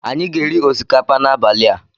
Anyị ga-eri osikapa n'abalị a.